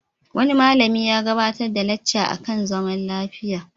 Wani malami ya gabarar da lacca a kan zaman lafiya.